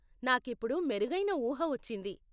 నాకు ఇప్పుడు మెరుగైన ఊహ వచ్చింది.